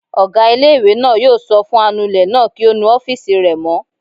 Ọgá ilé-ìwé náà yóò sọ fún anulẹ̀ náà kí ó nu ọ́fìsì rẹ̀ mọ́